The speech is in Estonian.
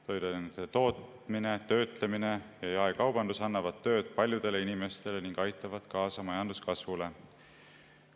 Toiduainete tootmine, töötlemine ja jaekaubandus annavad tööd paljudele inimestele ning aitavad kaasa majanduskasvule.